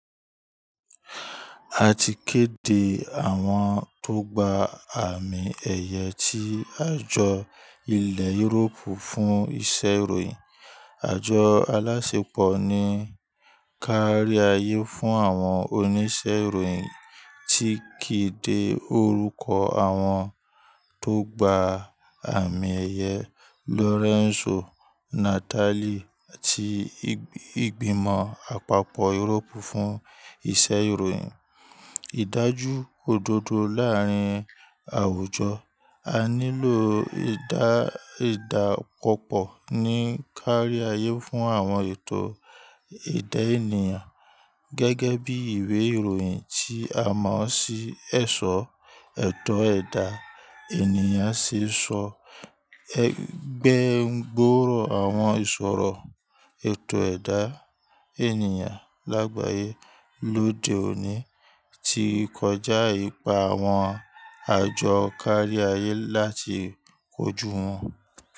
Àti kéde àwọn tó gbà àmì ẹyẹ tí àjò ilé Europe fún iṣẹ́ ìròyìn Àjọ alásẹpọ̀ ní káríayé fún àwọn oníṣẹ́ ìròyìn ti kéde orúkọ àwọn tó gba àmì ẹ̀yẹ Lorenzo Natali àti ìgbìmọ̀ àpapọ̀ Europe fún iṣẹ́ ìròyìn. Ídájú òdodo láàárín àwùjọ, a nílò ìdápọ̀pọ̀ ní káríayé fún àwọn ètò ẹ̀dá ènìyàn. Gẹ́gẹ́ bí ìwé ìròyìn tí a mọ̀ sí ẹ̀ṣọ́, ètò ẹ̀dá ènìyàn ṣẹ̀ṣọ́ gbẹ́ gbòòrò àwọn ìṣòro ètò ẹ̀dá ènìyàn lágbàyé lóde òní tí kọjá ipa àwọn àjọ káríayé láti kojú wọn.